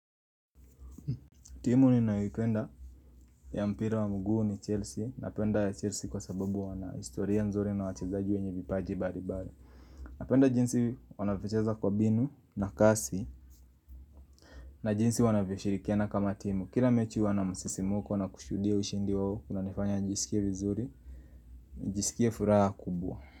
Timu ninaipenda ya mpira wa mguu ni Chelsea. Napenda Chelsea kwa sababu wana historia nzuri na wachezaji wenye vipaji mbalimbali. Napenda jinsi wanavyocheza kwa binu na kasi na jinsi wanavyoshirikiana kama timu. Kila mechi huwa na msisimko na kushuhudia ushindi wao. Kunanifanya nijisikie vizuri nijisikie furaha kubwa.